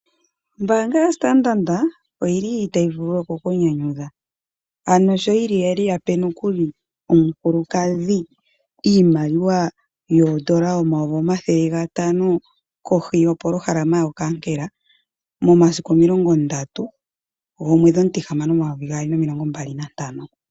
Ombaanga yo Standard oyili tayi vulu oku kunyanyudha sho yape omukulukadhi iimaliwa oondola omayovi omathele gatano kohi yopolohalama yo nkankela, momasiku omulongondatu omwedhi omutihamano momumvo omathele gaali omilongo mbali nantano.